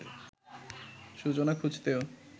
সূচনা খুঁজতেও